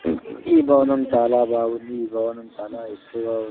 ఈ భవనం చాలా బాగుంది ఈ భవనం చాలా ఎత్తుగా ఉం--